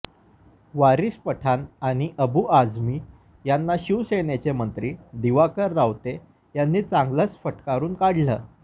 वारीस पठाण आणि अबू आझमी यांना शिवसेनेचे मंत्री दिवाकर रावते यांनी चांगलंच फटकारून काढलं